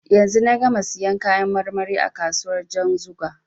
Yanzu na gama siyan kayan marmari a kasuwar Janzuga.